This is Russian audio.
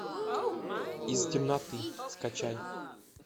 из темноты скачай